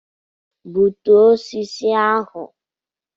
Bụtuo osisi ahụ!